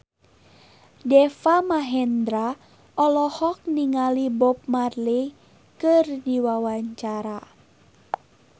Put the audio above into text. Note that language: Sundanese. Deva Mahendra olohok ningali Bob Marley keur diwawancara